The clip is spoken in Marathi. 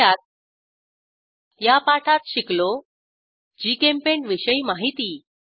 थोडक्यात या पाठात शिकलो जीचेम्पेंट विषयी माहिती